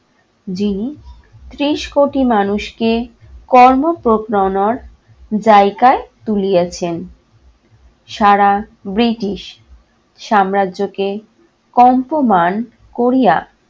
যিনি ত্রিশ কোটি মানুষকে কর্ম অনড় জায়গায় তুলিয়াছেন। সারা ব্রিটিশ সাম্রাজ্যকে কম্পমান করিয়া